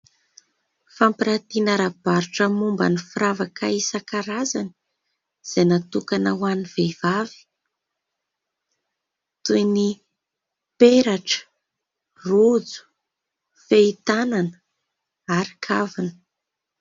Fampiratiana ara-barotra momba ny firavaka isan-karazany izay natokana ho an'ny vehivavy. Toy ny peratra, rojo, fehi-tanana ary kavina.